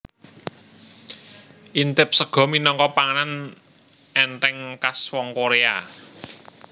Intib sega minangka panganan ènthèng kas wong Korea